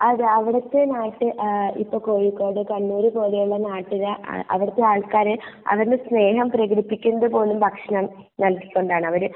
അതെ അവിടത്തെ ആയിട്ട് ഇപ്പൊ കോഴിക്കോട് , കണ്ണൂര് പോലെ ഉള്ള നാട്ടിലെ എഹ് അഹ് അവിടിക്കാതെ നാട്ടുകാര് അവരുടെ സ്നേഹം പ്രേകടിപ്പിക്കുന്നത് പോലും ഭക്ഷണം നൽകികൊണ്ട് ആണ് അവര്